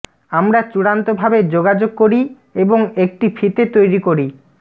আমরা চূড়ান্তভাবে যোগাযোগ করি এবং একটি ফিতে তৈরি করি